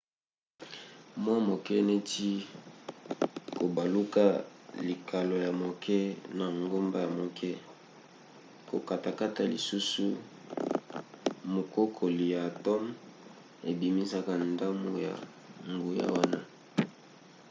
mwa moke neti kobaluka likalo ya moke na ngomba ya moke. kokatakata lisusu mukokoli ya atome ebimisaka ndambu ya nguya wana